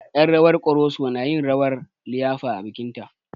Yen rawar ƙoroso na yin rawar a liyafar bikin ta